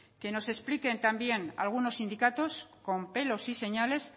que nos expliquen también algunos sindicatos con pelos y señales